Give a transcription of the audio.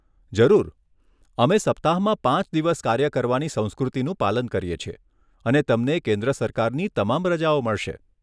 જરૂર. અમે સપ્તાહમાં પાંચ દિવસ કાર્ય કરવાની સંસ્કૃતિનું પાલન કરીએ છીએ અને તમને કેન્દ્ર સરકારની તમામ રજાઓ મળશે.